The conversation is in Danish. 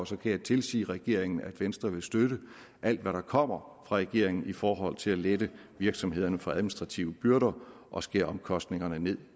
så kan jeg tilsige regeringen at venstre vil støtte alt hvad der kommer fra regeringen i forhold til at lette virksomhederne for administrative byrder og skære omkostningerne